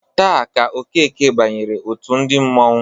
Taa ka Okeke banyere òtù ndị mmanwu.